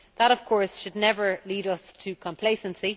That, of course, should never lead us into complacency.